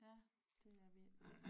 Ja det er virkelig